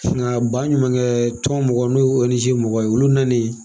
baɲumankɛtɔn mɔgɔw n'o o ONG mɔgɔw ye olu nanen